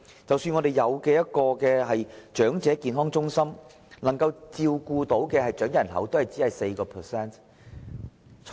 即使我們已設立長者健康中心，但只能照顧長者人口的 4%。